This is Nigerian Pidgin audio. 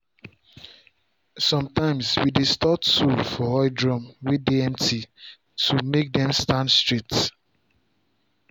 sometimeswe dey store tool for oil drum way dey empty to make dem stand straight.